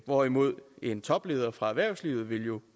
hvorimod en topleder fra erhvervslivet jo